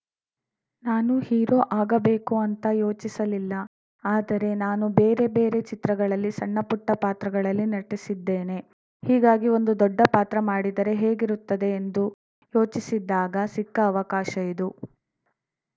ನಾನು ಹೀರೋ ಆಗಬೇಕು ಅಂತ ಯೋಚಿಸಲಿಲ್ಲ ಆದರೆ ನಾನು ಬೇರೆ ಬೇರೆ ಚಿತ್ರಗಳಲ್ಲಿ ಸಣ್ಣಪುಟ್ಟಪಾತ್ರಗಳಲ್ಲಿ ನಟಿಸಿದ್ದೇನೆ ಹೀಗಾಗಿ ಒಂದು ದೊಡ್ಡ ಪಾತ್ರ ಮಾಡಿದರೆ ಹೇಗಿರುತ್ತದೆ ಎಂದು ಯೋಚಿಸಿದ್ದಾಗ ಸಿಕ್ಕ ಅವಕಾಶ ಇದು